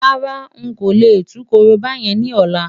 Rárá, n kò lè tú korobá yẹn ní ọ̀la.